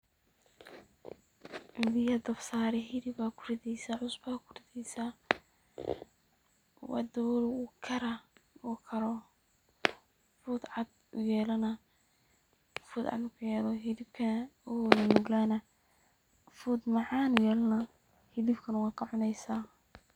Biyaa dab saari, hilib aa ku rideysaa, cusba aa ku rideysaa waa dawooli ,wuu karaa ,markuu karo ,fuud cad uu yelanaa ,fuud cad markuu yeesho hilibka wuu nunuglanaa fuud macaan uu yelanaa hiblibkana waa ka cuneysaa.